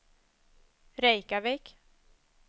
Reykjavik